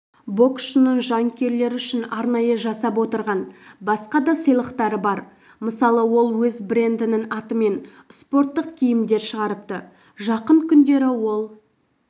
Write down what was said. боксшының жанкүйерлер үшін арнайы жасап отырған басқа да сыйлықтары бар мысалы ол өз брэндінің атымен спорттық киімдер шығарыпты жақын күндері ол